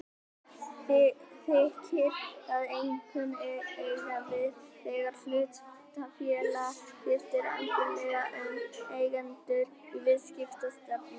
Þykir það einkum eiga við þegar hlutafélag skiptir algjörlega um eigendur og viðskiptastefnu.